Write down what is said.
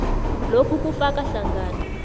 lokhu kufaka hlangana